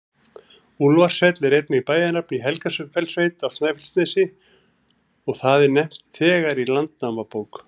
Úlfarsfell er einnig bæjarnafn í Helgafellssveit á Snæfellsnesi, og það er nefnt þegar í Landnámabók.